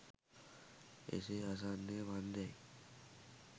එසේ අසන්නේ මන්දැයි